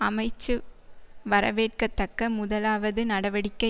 அமைச்சு வரவேற்கத்தக்க முதலாவது நடவடிக்கை